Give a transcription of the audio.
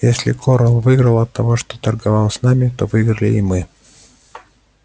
если корел выиграл от того что торговал с нами то выиграли и мы